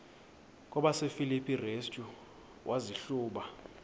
kwabasefilipi restu wazihluba